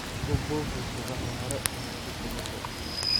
Ku buufi subaxda hore ama fiidkii dambe.